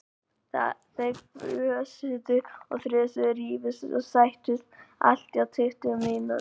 Þau fjösuðu og þrösuðu, rifust og sættust, allt á tuttugu mínútum.